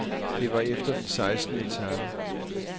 Det var efter den sekstende etape.